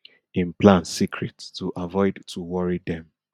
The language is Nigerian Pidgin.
im plans secret to avoid to worry dem